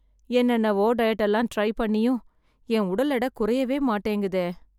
என்னென்னவோ டயட்டெல்லாம் ட்ரை பண்ணியும் என் உடல் எட குறையவே மாட்டேங்குதே...